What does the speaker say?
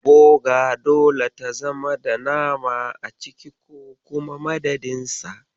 Boga dole ta zama da nama a ciki ko kuma madadin sa.